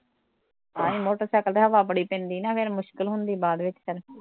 ਆਹੋ ਮੋਟਰਸੈਕਲ ਤੇ ਹਵਾ ਬੜੀ ਪੈਂਦੀ ਨਾ ਫਿਰ ਮੁਸ਼ਕਿਲ ਹੁੰਦੀ ਬਾਦ ਵਿੱਚ ਫਿਰ